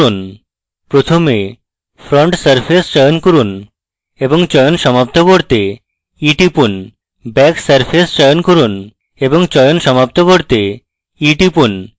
প্রথমে front surface চয়ন করুন এবং চয়ন সমাপ্ত করতে e টিপুন back surface চয়ন করুন এবং চয়ন সমাপ্ত করতে e টিপুন